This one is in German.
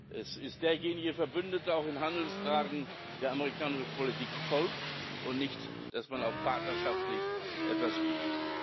Es ist derjenige Verbündeter, auch in Handelsfragen, der amerikanischer Politik folgt, und nicht, dass auch mal partnerschaftlich was geht.